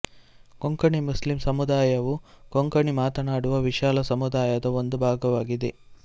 Konkani Muslim ಸಮುದಾಯವು ಕೊಂಕಣಿ ಮಾತನಾಡುವ ವಿಶಾಲ ಸಮುದಾಯದ ಒಂದು ಭಾಗವಾಗಿದೆ